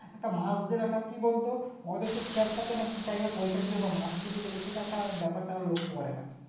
একটা মাস জেল একটা কি বলতো ওদের তো খেয়াল থাকে না কি Time এ পয়সা দিবে বা মাস ফুরিয়ে গেলো সেটা একটা ব্যাপারটা ওরা লক্ষা করে না